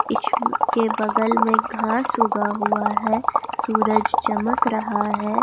के बगल में घास उगा हुआ है सूरज चमक रहा है।